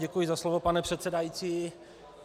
Děkuji za slovo, pane předsedající.